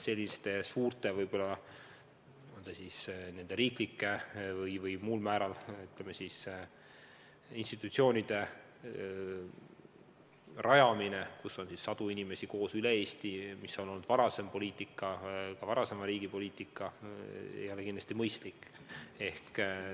Suurte riiklike või muude institutsioonide rajamine, kus on sadu inimesi koos üle Eesti – selline on olnud varasem riigi poliitika –, ei ole kindlasti mõistlik.